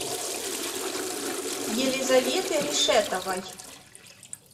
елизаветы решетовой